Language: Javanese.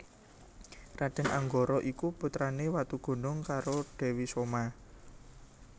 Raden Anggara iku putrane Watugunung karo Dewi Soma